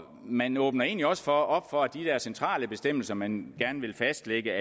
man åbner egentlig også op for at de der centrale bestemmelser som man gerne vil fastlægge